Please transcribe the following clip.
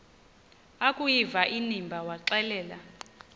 akuyiva inimba waxelela